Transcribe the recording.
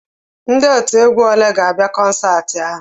Ndị otiegwu olee ga-abịa kọnsaati ahụ?